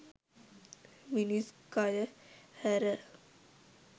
මිනිස් කය හැර